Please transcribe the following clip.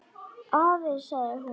Afi, sagði hún.